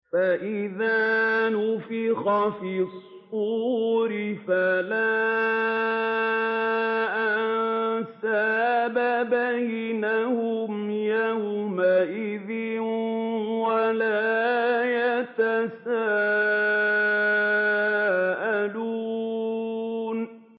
فَإِذَا نُفِخَ فِي الصُّورِ فَلَا أَنسَابَ بَيْنَهُمْ يَوْمَئِذٍ وَلَا يَتَسَاءَلُونَ